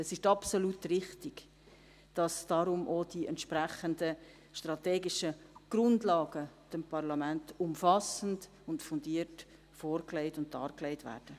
Es ist absolut richtig, dass deshalb dem Parlament die entsprechenden strategischen Grundlagen umfassend und fundiert vorgelegt und dargelegt werden.